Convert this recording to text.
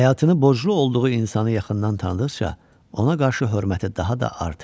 Həyatını borclu olduğu insanı yaxından tanıdıqca ona qarşı hörməti daha da artırdı.